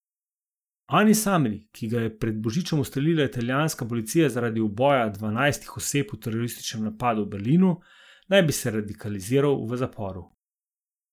Anis Amri, ki ga je pred božičem ustrelila italijanska policija zaradi uboja dvanajstih oseb v terorističnem napadu v Berlinu, naj bi se radikaliziral v zaporu.